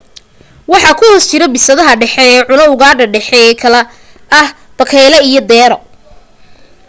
waxa ku hoos jira bisadaha dhexe ee cuna ugaadha dhexe ee kala ah bakayle ilaa deero